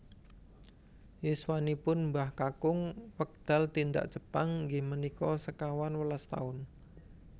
Yuswanipun Mbah Kakung wekdal tindak Jepang inggih menika sekawan welas taun